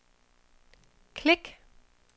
klik